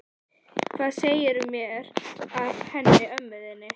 Hvað segirðu mér af henni mömmu þinni?